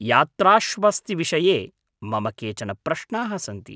यात्राश्वस्तिविषये मम केचन प्रश्नाः सन्ति।